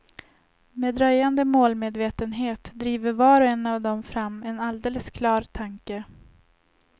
Med dröjande målmedvetenhet driver var och en av dem fram en alldeles klar tanke.